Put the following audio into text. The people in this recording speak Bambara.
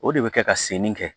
O de bɛ kɛ ka senni kɛ